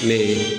Mɛ